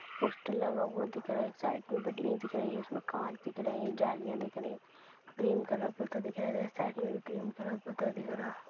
Poster लगा हुआ दिख रहा है साइड में बिल्डिंगे दिख रही है उसमें काँच दिख रहे है जालियाँ दिख रही क्रीम कलर दिखाई दे रहा है साइड में भी क्रीम कलर दिख रहा।